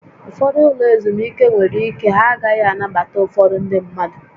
Ụfọdụ ụlọ ezumike nwere ike ha agaghị anabata ụfọdụ ndị mmadụ